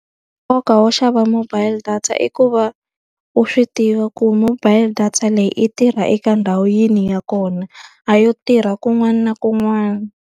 Nkoka wo xava mobile data i ku va u swi tiva ku mobile data leyi yi tirha eka ndhawu yihi ya kona. A yo tirha kun'wana na kun'wana.